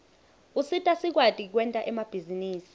usita sikwati kwenta emabhizinisi